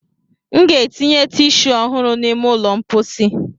M ga-etinye tishuu ọhụrụ n'ime ụlọ mposi.